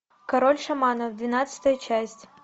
король шаманов двенадцатая часть